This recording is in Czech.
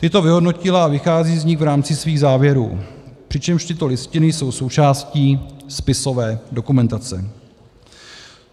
Tyto vyhodnotila a vychází z nich v rámci svých závěrů, přičemž tyto listiny jsou součástí spisové dokumentace.